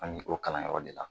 An ye o kalanyɔrɔ de la